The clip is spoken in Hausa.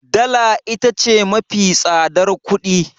Dala ita ce mafi tsadar kuɗi